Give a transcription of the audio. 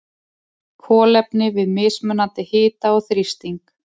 Kolefni við mismunandi hita og þrýsting.